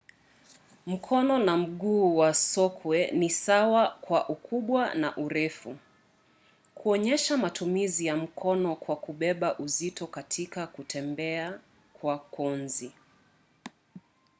mkono na mguu wa sokwe ni sawa kwa ukubwa na urefu kuonyesha matumizi ya mkono kwa kubeba uzito katika kutembea kwa konzi